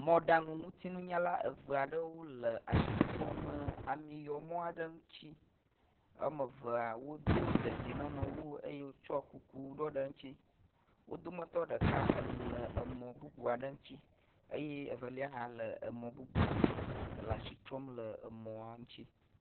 Mɔɖaŋutinunyala eve aɖewo le asi trɔm amiyɔmɔ aɖe ŋuti. Woamevea wodo dedienɔnɔwu eye wotsɔ kuku ɖɔ ɖe eŋutsi. Wo dometɔ ɖeka le emɔ bubu aɖe ŋuti eye evelia hã le emɔ bubu ŋutsi le asi trɔm ɖe emɔ ŋutsi